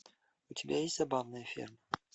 у тебя есть забавная ферма